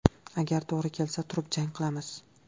Agar to‘g‘ri kelsa turib jang qilamiz.